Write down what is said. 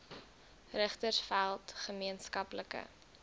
richtersveld gemeen skaplike